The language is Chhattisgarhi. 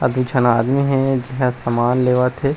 अऊ दू झन आदमी हे जेहा समान लेवत हे।